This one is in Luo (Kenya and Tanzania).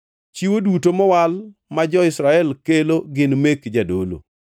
Chiwo duto mowal ma jo-Israel kelo gin mek jadolo.